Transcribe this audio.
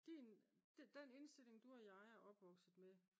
den indstilling du og jeg er opvokset med